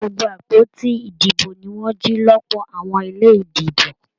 Gbogbo àpótí ìdìbò ní wọn jì lọpọ àwọn ilé ìdìbò.